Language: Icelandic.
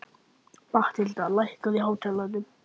Mathilda, lækkaðu í hátalaranum.